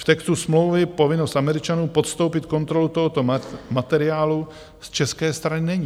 V textu smlouvy povinnost Američanů podstoupit kontrolu tohoto materiálu z české strany není.